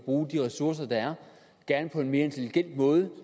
bruge de ressourcer der er på en mere intelligent måde